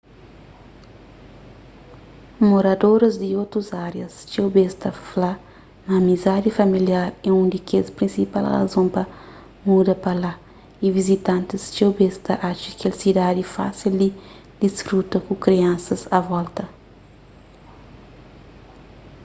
moradoris di otus árias txeu bês ta fla ma amizadi familiar é un di kes prinsipal razon pa muda pa la y vizitantis txeu bês ta atxa kel sidadi fásil di disfruta ku kriansas a volta